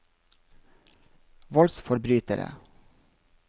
voldsforbrytere